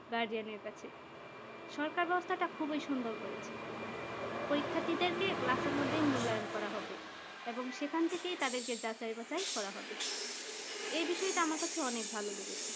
guardian কাছে সরকার ব্যবস্থা টা খুবই সুন্দর করেছে পরীক্ষার্থীদের কে class মধ্যে মূল্যায়ন করা হবে এবং সেখান থেকেই তাদেরকে যাচাই করা হবে এ বিষয় টা আমার কাছে অনেক ভালো লেগেছে।